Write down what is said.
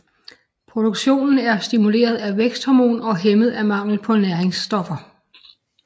Produktionen er stimuleret af væksthormon og hæmmet af mangel på næringsstoffer